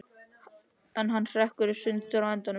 En hann hrekkur í sundur á endanum.